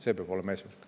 See peab olema eesmärk.